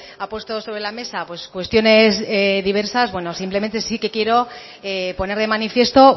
ha puesto sobre la mesa cuestiones diversas simplemente sí que quiero poner de manifiesto